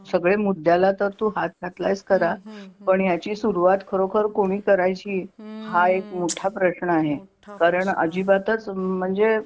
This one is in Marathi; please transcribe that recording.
सगळे मुद्द्याला तर तू हात घातल्यास खरा पण याची सुरुवात खरोखर कोणी करायची हा एक मोठा प्रश्न आहे हम्म मोठा प्रश्न आहे कारण अजिबातच म्हणजे